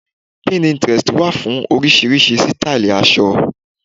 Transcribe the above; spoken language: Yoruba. Pinterest wà fún oríṣiríṣi sítáílì aṣọ.